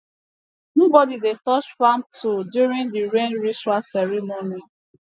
nobody dey touch farm tool during the rain ritual ceremony